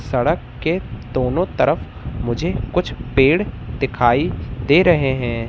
सड़क के दोनों तरफ मुझे कुछ पेड़ दिखाई दे रहे हैं।